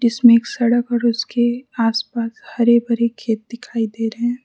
इसमें एक सड़क और उसके आस पास हरे भरे खेत दिखाई दे रहे हैं।